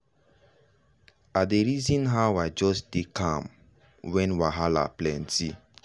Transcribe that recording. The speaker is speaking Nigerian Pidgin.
i dey reason how i just dey calm when wahala plenty.